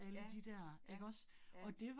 Ja, ja, ja